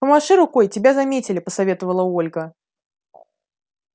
помаши рукой тебя заметили посоветовала ольга